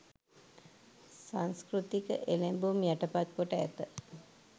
සංස්කෘතික එළැඹුම් යටපත් කොට ඇත.